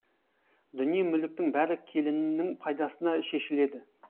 дүние мүліктің бәрі келінінің пайдасына шешіледі